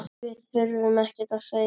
Við þurftum ekkert að segja.